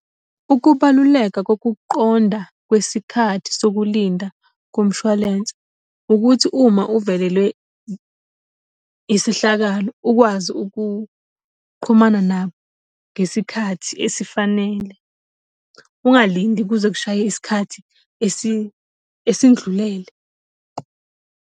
Ukubaluleka kokuqonda kwesikhathi sokulinda kumshwalense, ukuthi uma uvelelwe isehlakalo ukwazi ukuqhumana nabo ngesikhathi esifanele. Ungalindi kuze kushaye isikhathi esindlulele.